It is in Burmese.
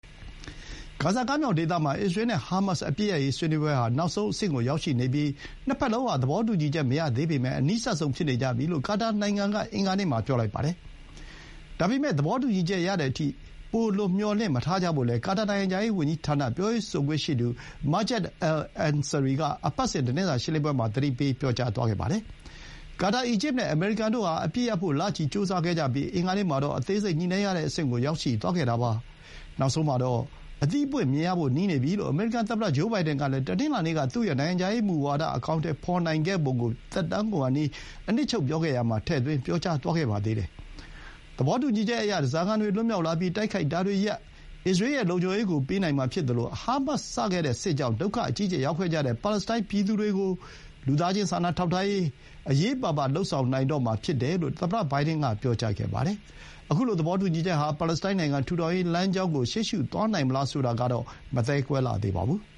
ဂါဇာကမ်းမြှောင်ဒေသမှာ အစ္စရေး နဲ့ ဟာမတ်စ် အပစ်ရပ်ရေး ဆွေးနွေးပွဲဟာ နောက်ဆုံး အဆင့်ကို ရောက်ရှိနေပြီး နှစ်ဘက်လုံးဟာ သဘောတူညီချက် မရသေးပေမဲ့ အနီးစပ်ဆုံး ဖြစ်နေကြပြီလို့ ကာတာနိုင်ငံက အင်္ဂါနေ့မှာ ပြောလိုက်ပါတယ်။ ဒါပေမဲ့ သဘောတူညီချက် ရသည်အထိ ပိုလွန်မျှော်လင့် မထားကြဖို့လည်း ကာတာ နိုင်ငံခြားရေး ဝန်ကြီးဌာန ပြောရေးဆိုခွင့်ရှိသူ Majed al-Ansari က အပတ်စဥ် သတင်းစာ ရှင်းလင်းပွဲမှာ ပြောကြားသွားခဲ့တာ ဖြစ်ပါတယ်။ ကာတာ၊ အီဂျစ် နဲ့ အမေရိကန် တို့ဟာ အပစ်ရပ်ဖို့ လချီ ကြိုးစားခဲ့ကြပြီး အင်္ဂါနေ့မှာတော့ အသေးစိတ် ညှိနှိုင်းရတဲ့ အဆင့်ကို ရောက်ရှိသွားခဲ့တာပါ။ နောက်ဆုံးမှာတော့ အသီးအပွင့် မြင်ရဖို့ နီးနေပြီ လို့ အမေရိကန် သမ္မတ ဂျိုးဘိုင်ဒန်ကလည်း တနင်္လာနေ့က သူ့ရဲ့ နိုင်ငံခြားရေး မူဝါဒ အကောင်အထည် ဖော်ဆောင်နိုင်ခဲ့ပုံ ကို သက်တမ်းကုန်ခါနီး အနှစ်ချုပ် ပြောခဲ့ရာမှာ ထည့်သွင်း ပြောကြားသွားခဲ့ပါသေးတယ်။ သဘောတူညီချက်အရ ဓားစာခံတွေ လွတ်မြောက်လာပြီး၊ တိုက်ခိုက်တာတွေရပ်၊ အစ္စရေး ရဲ့ လုံခြုံရေးကို ပေးနိုင်မှာ ဖြစ်သလို၊ ဟာမတ်စ် စခဲ့တဲ့ စစ်ကြောင့် ဒုက္ခ အကြီးအကျယ် ရောက်ခဲ့ကြတဲ့ ပါလက်စတိုင်း ပြည်သူတွေကို လူသားချင်း စာနာထောက်ထားရေး ကို အရေးပါပါ လုပ်ဆောင်နိုင်တော့မှာ ဖြစ်တယ်လို့ သမ္မတ ဘိုင်ဒန် က ပြောကြားပါတယ်။ အခုလို သဘောတူညီချက် ဟာ ပါလက်စတိုင်း နိုင်ငံ ထူထောင်ရေးလမ်းကြောင်းကို ရှေးရှုသွားနိုင်မလား ဆိုတာကတော့ မသဲကွဲလှသေးပါဘူး။